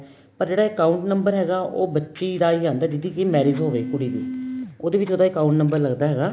ਪਰ ਜਿਹੜਾ account number ਹੈਗਾ ਉਹ ਬੱਚੀ ਦਾ ਹੀ ਆਂਦਾ ਜਿਹਦੀ ਕਿ marriage ਹੋਵੇ ਕੁੜੀ ਦੀ ਉਹਦੇ ਵਿੱਚ ਉਹਦਾ account number ਲੱਗਦਾ ਹੈਗਾ